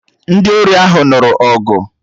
Ndị ori ahụ nụrụ ọgụ